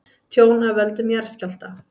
Tjón af völdum jarðskjálfta